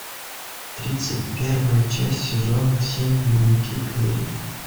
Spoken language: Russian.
тридцать первая часть сезона семь дневники керри